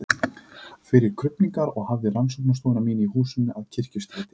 fyrir krufningar og hafði rannsóknarstofu mína í húsinu að Kirkjustræti